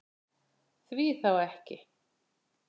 Því þá ekki?